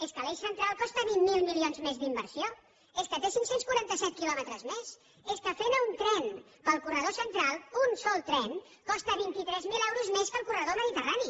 és que l’eix central costa vint miler milions més d’inversió és que té cinc cents i quaranta set quilòmetres més és que fer anar un tren pel corredor central un sol tren costa vint tres mil euros més que el corredor mediterrani